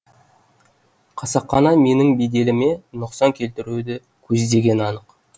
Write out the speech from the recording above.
қасақана менің беделіме нұқсан келтіруді көздегені анық